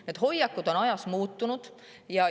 Need hoiakud on ajas muutunud.